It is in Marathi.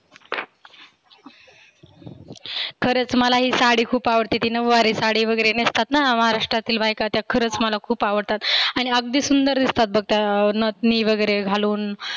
खरच मलाही साडी खुप आवडते. ती नव्वारी साडीवगैरे नेसतात ना महाराष्ट्रातील बायका त्या खरच मला खुप आवडतात. आणि अगदी सुंदर दिसतात बघ त नथनी वगैरे घालून.